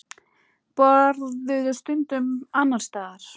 Borðuðu stundum annars staðar.